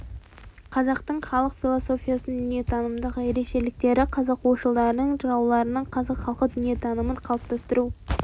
қазақтың халық философиясының дүниетанымдық ерекшеліктері қазақ ойшылдарының жырауларының қазақ халқы дүниетанымын қалыптастыру